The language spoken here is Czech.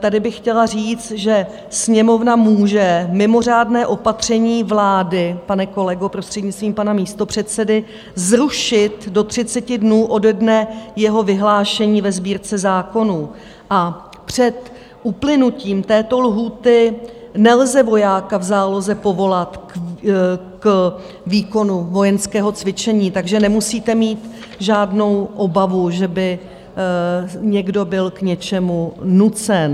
Tady bych chtěla říct, že Sněmovna může mimořádné opatření vlády, pane kolego, prostřednictvím pana místopředsedy, zrušit do 30 dnů ode dne jeho vyhlášení ve Sbírce zákonů, a před uplynutím této lhůty nelze vojáka v záloze povolat k výkonu vojenského cvičení, takže nemusíte mít žádnou obavu, že by někdo byl k něčemu nucen.